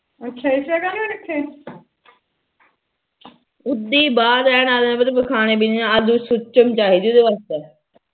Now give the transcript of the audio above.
ਉਦੀ ਆਲੂ ਸੁਚਮ ਚਾਹੀਦੀ ਉਹਦੇ ਵਾਸਤੇ